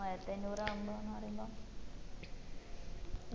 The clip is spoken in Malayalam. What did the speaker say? മോയായിരത്തി അഞ്ഞൂറ് ആവുമ്പം എന്ന് പറയുമ്പം